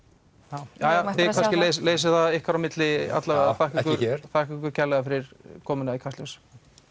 já jæja þið kannski leysið það ykkar á milli ekki hér þakka ykkur kærlega fyrir komuna í Kastljós